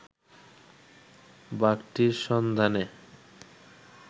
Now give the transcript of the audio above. বাঘটির সন্ধানে